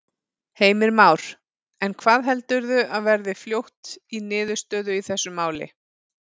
Heimir Már: En hvað heldurðu að verði fljótt í niðurstöðu í þessu máli?